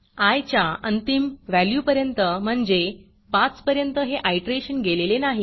I च्या अंतिम व्हॅल्यूपर्यंत म्हणजे 5 पर्यंत हे आयटरेशन गेलेले नाही